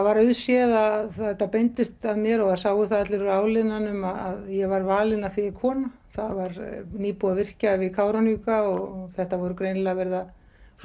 var auðséð að þetta beindist að mér og það sáu það allir úr áliðnaðinum að ég var valin af því ég er kona það var nýbúið að virkja við Kárahnjúka og þetta var greinilega verið að